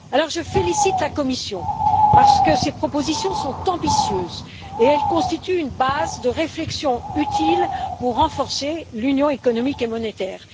Je félicite la Commission, parce que ses propositions sont ambitieuses et constituent une base de réflexion utile pour renforcer l'Union économique et monétaire.